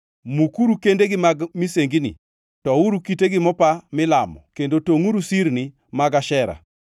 Mukuru kendegi mag misengini, touru kitegi mopa milamo kendo tongʼuru sirnigi mag Ashera.